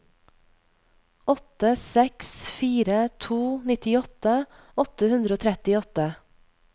åtte seks fire to nittiåtte åtte hundre og trettiåtte